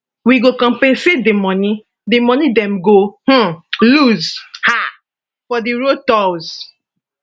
wey go compensate di moni di moni dem go um lose um for di road tolls